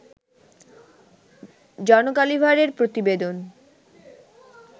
জন গালিভারের প্রতিবেদন